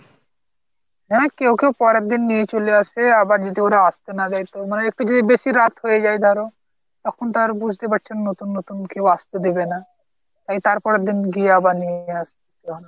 হ্যাঁ কেউ কেউ পরের দিন নিয়ে চলে আসে কেউ আবার যদি ওরা আস্তে না চায় তো মানে একটু যদি বেশি রাত হয়ে যায় ধরো তখন তো আর বুঝতে পারছো নতুন নতুন কেউ আস্তে দেবে না। ওই তার পরের দিন আবার গিয়ে নিয়ে আস্তে হয়